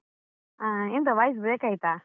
ಹಾ, ಎಂತ voice break ಆಯ್ತಾ?